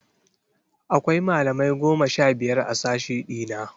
Akwai malamai goma sha biyar a sashe ɗina.